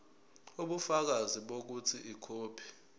ubufakazi bokuthi ikhophi